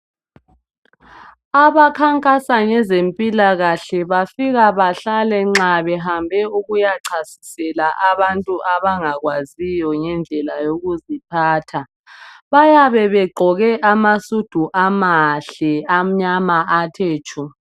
Abakhankasa ngezempilakahle bafika bahlale nxa behambe ukuyachasisela abantu abangakwaziyo ngendlela yokuziphatha. Bayabe begqoke amasudu amahle amnyama athe tshu.